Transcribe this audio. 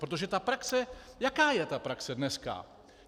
Protože ta praxe, jaká je ta praxe dneska?